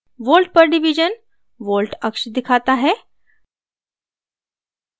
volt/div volt अक्ष को दिखाता है